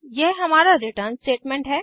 यह हमारा return statement है